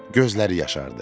Gözləri yaşardı.